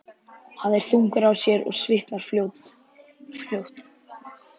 Hann er þungur á sér og svitnar fljótt.